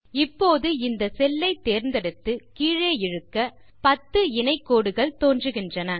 இப்போது இந்த செல்லை தேந்தெடுத்து கீழே இழுக்க 10 இணை கோடுகள் தோன்றுகின்றன